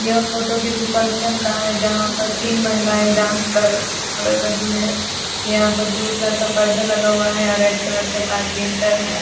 यह फोटो किसी फंक्शन का है जहाँ पर तीन महिलाये डांस कर कर रही हैं जहाँ पर ब्लू कलर का पर्दा लगा हुआ है अ रेड कलर का कारपेंटर है ।